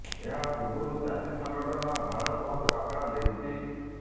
ଏହା ପୂର୍ବରୁ ଚାଷୀ ସଂଗଠନ ଭାରତ ବନ୍ଦ ଡାକରା ଦେଇଛି